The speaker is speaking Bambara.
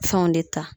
Fɛnw de ta